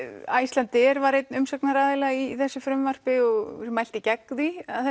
Icelandair var einn umsagnaraðila í þessu frumvarpi og mælti gegn því að